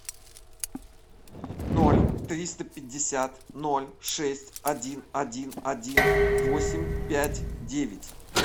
ноль триста пятьдесят ноль шесть один один один восемь пять девять